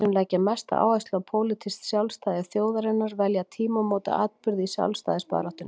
Þeir sem leggja mesta áherslu á pólitískt sjálfstæði þjóðarinnar velja tímamótaatburði í sjálfstæðisbaráttunni.